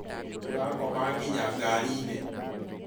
ũrakoma ngĩnya ngarĩnĩ?